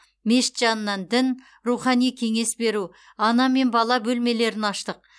мешіт жанынан дін рухани кеңес беру ана мен бала бөлмелерін аштық